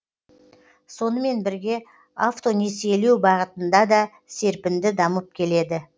сонымен бірге автонесиелеу бағытында да серпінді дамып келеді